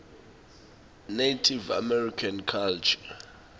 native american culture